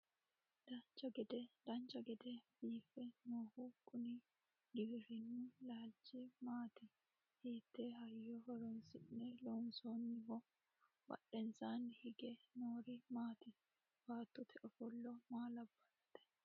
dancha gede biife noohu kuni giwirinnu laalchi maati? hiitte hayyo horonsi'ne loonsoonniho? badhensaanni hige noori maati? baattote ofollo maa labbannote?